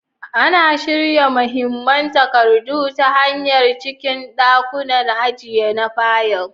Ana shirya mahimman takardu ta hanya a cikin ɗakunan ajiya na fayil.